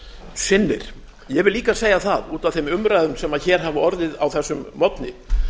sinnir ég vil líka segja það út af þeim umræðum sem hér hafa orðið á þessum morgni